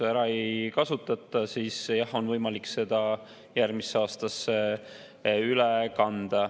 Kui seda raha nüüd ära ei kasutata, siis jah, on võimalik see järgmisse aastasse üle kanda.